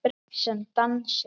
Sem dansar.